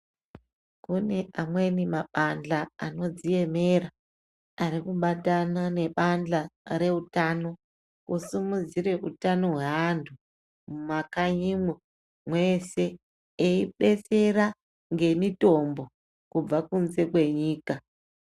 Kune amweni mabadhla anodziemera ari kubatana nebandhla reutano kusimudzire utano hweantu mumakanyimwo mweshe eibetsera ngemitombo kubva kunze kwenyika.